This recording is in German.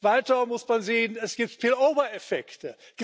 Weiter muss man sehen, es gibt spill over Effekte.